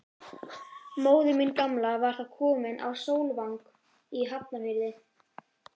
Móðir mín gamla var þá komin á Sólvang í Hafnarfirði.